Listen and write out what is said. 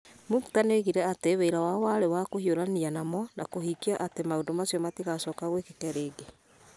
Muktar nĩoigire atĩ wĩra wao warĩ wa kũhiũrania namo na kũhingia atĩ maũndũ macio matigacoka gwĩkĩke rĩngĩ.